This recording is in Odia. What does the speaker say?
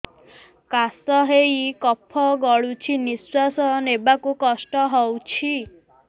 କାଶ ହେଇ କଫ ଗଳୁଛି ନିଶ୍ୱାସ ନେବାକୁ କଷ୍ଟ ହଉଛି